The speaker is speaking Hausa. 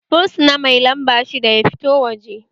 Fursuna mai lamba shidda ya fito waje!